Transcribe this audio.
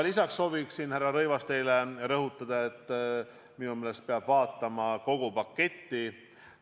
Lisaks soovin ma, härra Rõivas, teile rõhutada, et minu meelest peab vaatama kogu paketti.